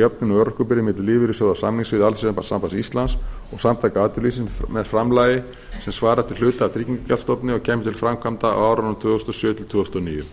jöfnun á örorkubyrði milli lífeyrissjóða á samningssviði alþýðusambands íslands og samtaka atvinnulífsins með framlagi sem svarar til hluta af tryggingagjaldsstofni og kæmi til framkvæmda á árunum tvö þúsund og sjö til tvö þúsund og níu